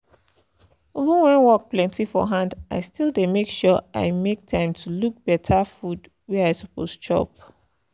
even when work plenty for hand i still dey make sure i make time to look better food wey i suppose chop